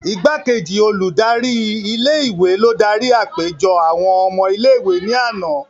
Igbakeji oludari ike-iwe lo dari apejọ awọn ọmọ ìlé-ìwé ni ana.